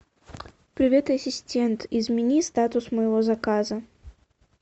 привет ассистент измени статус моего заказа